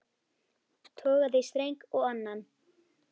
Togaði í streng og annan.